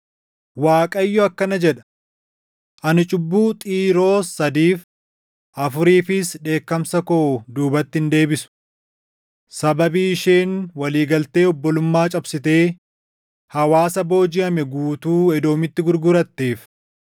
Waaqayyo akkana jedha: “Ani cubbuu Xiiroos sadiif, afuriifis dheekkamsa koo duubatti hin deebisu. Sababii isheen walii galtee obbolummaa cabsitee hawaasa boojiʼame guutuu Edoomitti gurguratteef